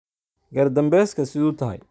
Gaar danbeska sidhuu tahay?